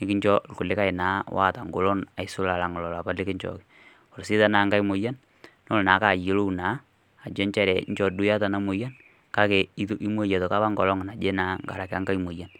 nikincho kulikae naa oata engolon neisul ilapa naa likichooki tenelo sii naa enkai moyian nelo naa ayiolou ajo nchere inchoo duo iyata ina moyian kake itomoyia naa nkolong naaje naa nkaraki nkae moyian